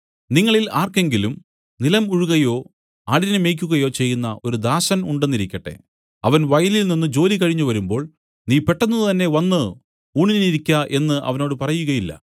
നിങ്ങളിൽ ആർക്കെങ്കിലും നിലം ഉഴുകയോ ആടിനെ മേയ്ക്കുകയോ ചെയ്യുന്ന ഒരു ദാസൻ ഉണ്ടെന്നിരിക്കട്ടെ അവൻ വയലിൽനിന്നു ജോലി കഴിഞ്ഞു വരുമ്പോൾ നീ പെട്ടെന്ന് തന്നെ വന്നു ഊണിനിരിക്ക എന്നു അവനോട് പറയുകയില്ല